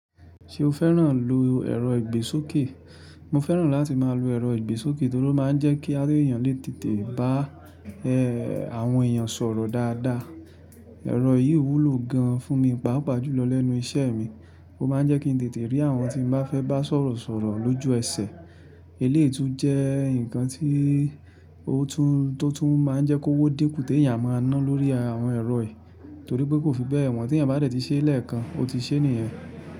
Ṣé o fẹ́ràn lo ẹ̀rọ ìgbésókè? Mo fẹ́ràn láti máa lo ẹ̀rọ ìgbésókè torí ó máa ń jẹ́ kí a lèèyàn lè tètè bá, ẹ́, àwọn èèyàn sọ̀rọ̀ dáadáa. Ẹ̀rọ yìí wúlò gan fún mi, pàápàá jùlọ lẹ́nu iṣẹ́ mi. Ó máa ń jẹ́ kí n tètè rí àwọn tí n bá fẹ́ bá sọ̀rọ̀ sọ̀rọ̀ lójú ẹsẹ̀. Eléyìí tún jẹ́ nǹkan tí tó tún máa ń jẹ́ kówó dín kù tèèyàn á máa ná lórí àwọn ẹ̀rọ yìí torí pé kò fi bẹ́ẹ̀ wọ́n tèèyàn bá dé tí ṣe lẹ́ẹ̀kan ó ti ṣe nìyẹn.